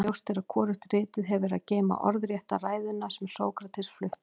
ljóst er að hvorugt ritið hefur að geyma orðrétta ræðuna sem sókrates flutti